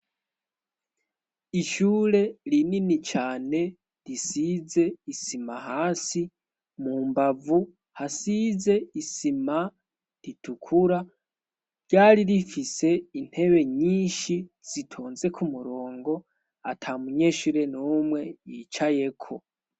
Ishure rinini cane risize isima hasi ,mu mbavu hasize isima itukura, ryari rifise intebe nyinshi zitonze ku murongo atamunyeshure n'umwe yicayeko